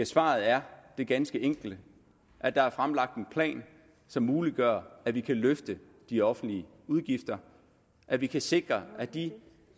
svaret er det ganske enkle at der er fremlagt en plan som muliggør at vi kan løfte de offentlige udgifter at vi kan sikre at de